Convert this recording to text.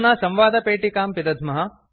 अधुना संवादपेटिकां पिदध्मः